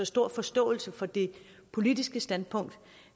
stor forståelse for det politiske standpunkt